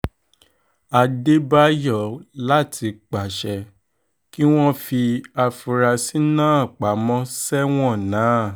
adédáyò láti pàṣẹ kí wọ́n fi àfúrásì náà pamọ sẹ́wọ̀n ná